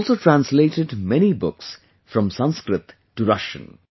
He has also translated many books from Sanskrit to Russian